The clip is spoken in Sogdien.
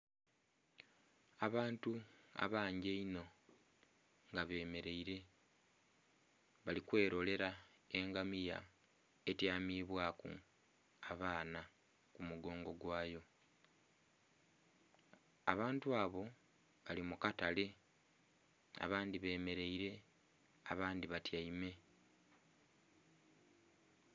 Abantu abangi einho nga bemereire bali kwelorela engamiya etyamibwaku abaana ku mu gongo gwaayo, abantu abo bali mu katale abandhi bemereire abandhi batyaime.